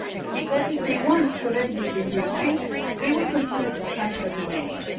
because if they want to land in the USA they will continue to transfer data.